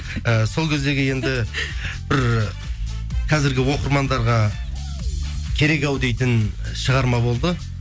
і сол кездегі енді бір қазіргі оқырмандарға керек ау дейтін шығарма болды